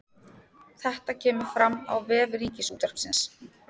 Þetta kemur fram á vef Ríkisútvarpsins